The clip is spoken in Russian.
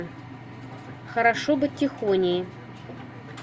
хорошо быть тихоней